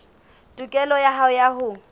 tokelo ya hao ya ho